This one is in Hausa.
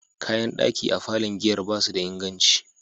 Kayan daki a falon giyar ba su da inganci.